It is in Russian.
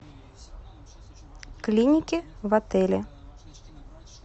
клиники в отеле